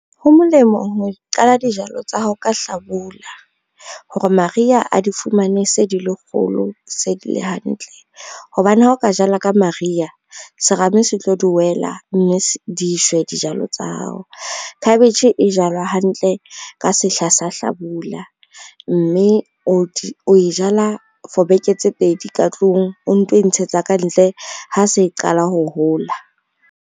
Ho molemo ho qala dijalo tsa hao ka hlabula, hore mariha a di fumane se di le kgolo se di le hantle. Hobane ha o ka jala ka mariha, serame se tlo di wela, mme di shwe dijalo tsa hao. Khabetjhe e jalwa hantle ka sehla sa hlabula, mme o e jala for beke tse pedi ka tlung o nto e ntshetsa kantle ha se qala ho hola.